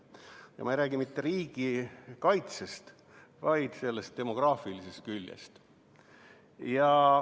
Ja ma ei räägi mitte riigikaitsest, vaid demograafilisest küljest.